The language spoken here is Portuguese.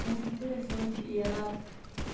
Nossa, que interessante, e ela